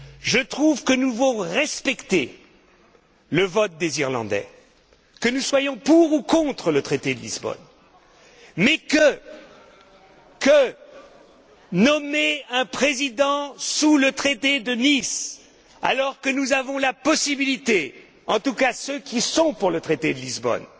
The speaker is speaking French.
Je trouve que nous devons respecter le vote des Irlandais, que nous soyons pour ou contre le traité de Lisbonne, mais que nommer un président sous le traité de Nice, alors que nous avons la possibilité, en tout cas ceux qui sont pour le traité de Lisbonne,